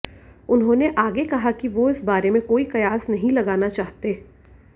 उन्होंने आगे कहा कि वो इस बारे में कोई कयास नहीं लगाना चाहते